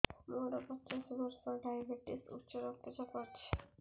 ମୋର ପଚାଶ ବର୍ଷ ଡାଏବେଟିସ ଉଚ୍ଚ ରକ୍ତ ଚାପ ଅଛି